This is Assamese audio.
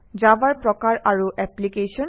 জাভাৰ প্ৰকাৰ আৰু এপ্লিকেশ্যন